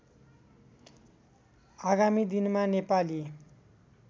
आगामी दिनमा नेपाली